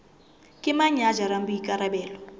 ke mang ya jarang boikarabelo